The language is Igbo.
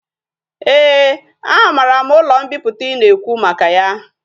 Ee a mara m ulo mpiputa i na ekwu maka ya